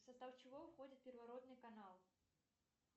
в состав чего входит первородный канал